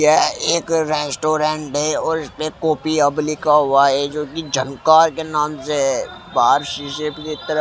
एक रेस्टोरेंट है और इस पे कॉपी हब लिखा हुआ है जो कि झंकार के नाम से बाहर शीशे की तरफ--